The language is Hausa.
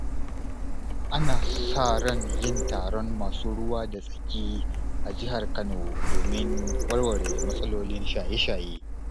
Ana sa ran yin taron masu ruwa da tsaki a Jihar Kano domin warware matsalolin shaye-shaye.